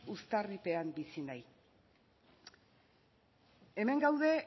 uztarripean bizi nahi hemen gaude